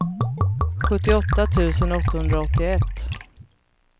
sjuttioåtta tusen åttahundraåttioett